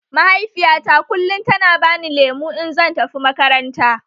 Mahaifiyata kullum tana bani lemu in zan tafi makaranta